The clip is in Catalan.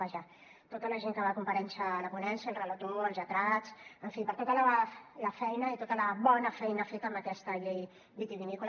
vaja a tota la gent que va comparèixer a la ponència al relator als lletrats en fi per tota la feina i tota la bona feina feta amb aquesta llei vitivinícola